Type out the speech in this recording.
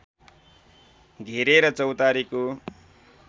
घेरेर चौतारीको